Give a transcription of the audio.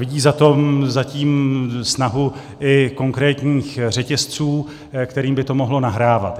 Vidí za tím snahu i konkrétních řetězců, kterým by to mohlo nahrávat.